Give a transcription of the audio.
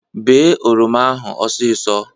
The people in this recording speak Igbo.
Bee oroma ahụ ọsisọ